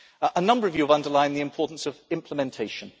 A number of you have underlined the importance of implementation.